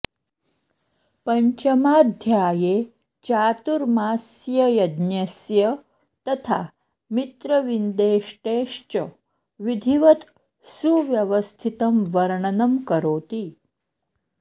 पञ्चमाध्याये चातुर्मास्ययज्ञस्य तथा मित्रविन्देष्टेश्च विधिवत् सुव्यवस्थितं वर्णनं करोति